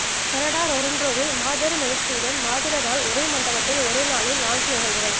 Canada ரொறன்ரோவில் மாபெரும் எழுச்சியுடன் மாவீரர் நாள் ஒரே மண்டபத்தில் ஒரே நாளில் நான்கு நிகழ்வுகள்